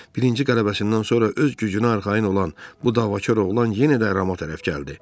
Birinci qələbəsindən sonra öz gücünə arxayın olan bu davakar oğlan yenə də Rama tərəf gəldi.